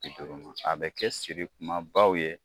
a bɛ kɛ siri kuma baw ye